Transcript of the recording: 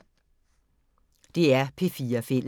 DR P4 Fælles